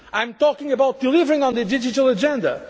I am talking about delivering on the digital